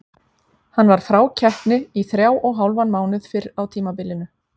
Hann var frá keppni í þrjá og hálfan mánuð fyrr á tímabilinu.